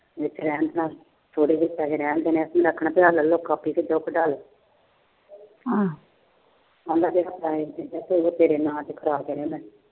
ਛੋਟੇ ਦੇ ਪੈਸੇ ਰਹਿਣ ਦਿੰਦੇ ਆ। ਤੀਹ ਲੱਖ ਰੁਪਇਆ ਪਿਆ ਕਾਪੀ ਚ ਕੱਢਾ ਲੋ। ਪੈਸੇ ਤੇਰੇ ਨਾਮ ਤੇ ਕਰਾ ਤੇ ਨੇ ਮੈਂ।